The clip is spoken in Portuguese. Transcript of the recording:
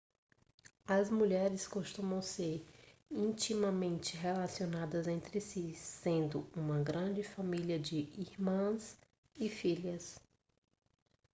as mulheres costumam ser intimamente relacionadas entre si sendo uma grande família de irmãs e filhas